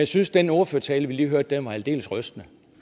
synes den ordførertale vi lige hørte var aldeles rystende